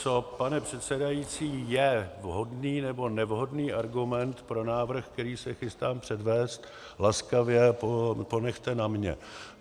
Co, pane předsedající, je vhodný nebo nevhodný argument pro návrh, který se chystám předvést, laskavě ponechte na mně.